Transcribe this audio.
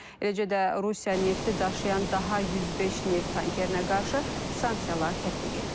Eləcə də Rusiya nefti daşıyan daha 105 neft tankerinə qarşı sanksiyalar tətbiq edilir.